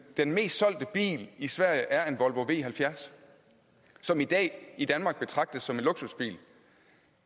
den mest solgte bil i sverige er en volvo v halvfjerds som i dag i danmark betragtes som en luksusbil